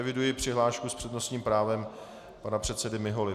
Eviduji přihlášku s přednostním právem pana předsedy Miholy.